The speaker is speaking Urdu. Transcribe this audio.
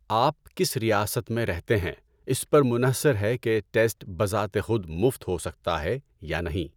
آپ کس ریاست میں رہتے ہیں اس پر منحصر ہے کہ ٹیسٹ بذات خود مفت ہو سکتا ہے یا نہیں۔